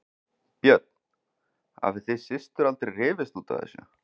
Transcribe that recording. Björn: Hafið þið systur aldrei rifist út af þessu?